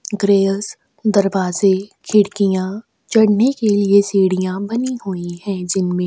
grills दरवाजे खिड़कियाँ चढ़ने के लिए सीढियाँ बनी हुई है जिनमे--